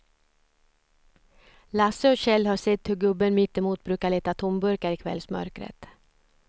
Lasse och Kjell har sett hur gubben mittemot brukar leta tomburkar i kvällsmörkret.